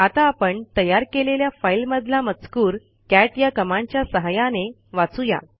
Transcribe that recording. आता आपण तयार केलेल्या फाईल मधला मजकूर कॅट या कमांडच्या सहाय्याने वाचू या